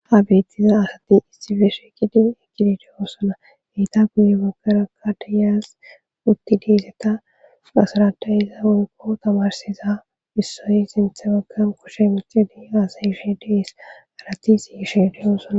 Ha bettiza asati issifeshekidin ekidideyosonaheyta kuye bogeraka dayas utti diizeta asaradayiza unko tamarsiza issoy sinthe baggan koshe mixede aasay ishe dees arati siisheedeyoosona.